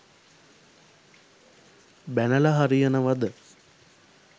බැනල හරියනවද?